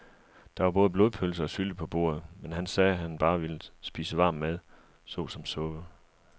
Der var både blodpølse og sylte på bordet, men han sagde, at han bare ville spise varm mad såsom suppe.